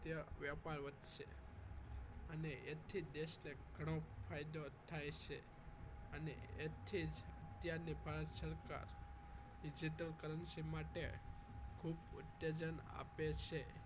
વ્યાપાર વધશે અને એથી જ દેશને ઘણો ફાયદો થાય છે અને એથી જ અત્યારની ભારત સરકાર digital currency માટે ખૂબ ઉત્તેજન આપે છે